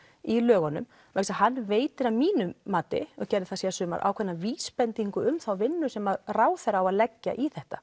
í lögunum vegna þess að hann veitir að mínu mati ákveðna vísbendingu um þá vinnu sem ráðherra á að leggja í þetta